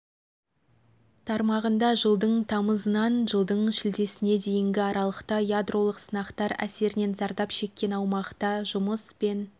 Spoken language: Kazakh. тармағында жылдың тамызынан жылдың шілдесіне дейінгі аралықта ядролық сынақтар әсірінен зардап шеккен аумақта жұмыс пен